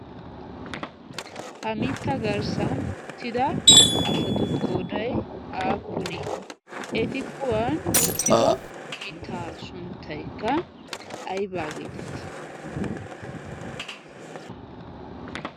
ha mitta garssan tida asatu kooday aappuni eti kuwan uttido mittaa shunttaikka aibaageetittii?